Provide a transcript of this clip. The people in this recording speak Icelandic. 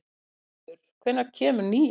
Brynleifur, hvenær kemur nían?